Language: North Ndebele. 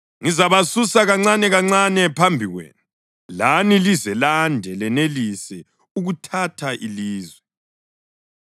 Ngizabasusa kancanekancane phambi kwenu, lani lize lande lenelise ukuthatha ilizwe.